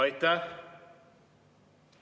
Aitäh!